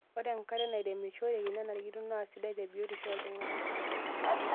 Ore enkare nairemishoreki nenarikino naasidai tebiotisho oltung'ana.